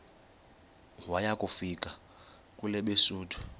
waya kufika kwelabesuthu